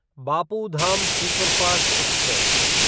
Bapu Dham superfast express